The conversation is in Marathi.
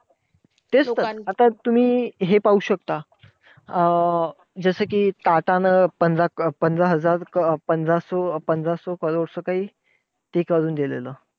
तेच तर! आता तुम्ही हे पाहू शकतात अं जसं कि, टाटानं पंधरा हजार अं करोड च काही ते करून दिलेलं.